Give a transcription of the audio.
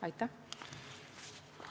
Aitäh!